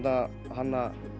hanna